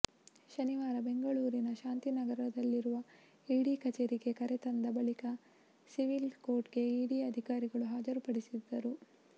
ಶನಿವಾರ ಬೆಂಗಳೂರಿನ ಶಾಂತಿ ನಗರದಲ್ಲಿರುವ ಈಡಿ ಕಚೇರಿಗೆ ಕರೆತಂದ ಬಳಿಕ ಸಿವಿಲ್ ಕೋರ್ಟ್ಗೆ ಈಡಿ ಅಧಿಕಾರಿಗಳು ಹಾಜರುಪಡಿಸಿದ್ದರು